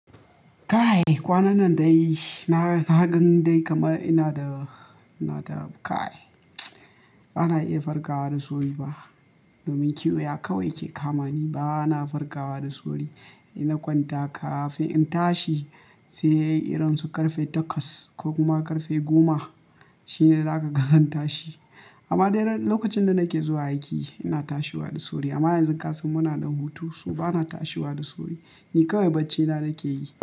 Kai kwanan nan dai na gan dai kamar ina da, ina da ƙai. Ba na iya farkawa da sauri ba. Domin kiwoya kawai ke kamani. Ba na farkawa da sauri. In na kwanta kafin in tashi sai irin su ƙarfe takwas ko kuma ƙarfe goma shine za ka ga zan tashi. Amma dai lokacin da na ke zuwa aiki ina tashiwa da sauri amma yanzu kasan mu na ɗan hutu, so ba na tashiwa da sauri. Ni kawai baccina na ke yi.